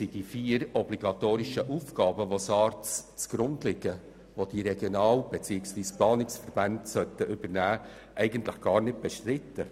Die vier obligatorischen Aufgaben, die der SARZ zugrunde liegen, sind gar nicht bestritten.